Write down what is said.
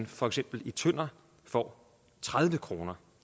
for eksempel tønder får tredive kroner